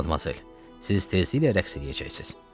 Madmazel, siz tezliklə rəqs eləyəcəksiniz.